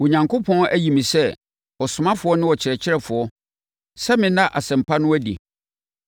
Onyankopɔn ayi me sɛ ɔsomafoɔ ne ɔkyerɛkyerɛfoɔ sɛ menna Asɛmpa no adi.